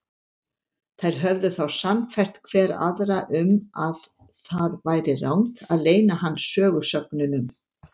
Þær höfðu þá sannfært hver aðra um að það væri rangt að leyna hann sögusögnunum.